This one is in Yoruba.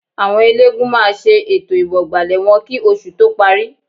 Àwọn eléégún máa ṣe ètò ìwọ̀gbàlẹ̀ wọn kì oṣù tó parí